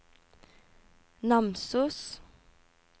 Namsos